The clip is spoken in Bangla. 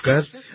নমস্কার